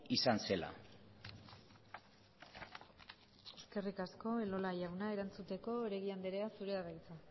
izan zela eskerrik asko elola jauna erantzuteko oregi anderea zurea da hitza